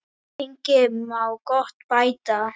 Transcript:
En lengi má gott bæta.